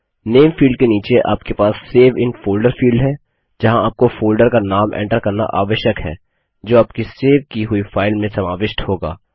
नामे field के नीचे आपके पास सेव इन फोल्डर फील्ड है जहाँ आपको फोल्डर का नाम एंटर करना आवश्यक है जो आपकी सेव की हुई फाइल में समाविष्ट होगा